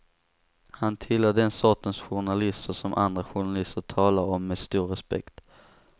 Han tillhör den sortens journalister som andra journalister talar om med stor respekt.